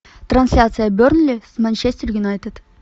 трансляция бернли с манчестер юнайтед